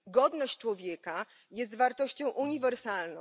Godność człowieka jest wartością uniwersalną.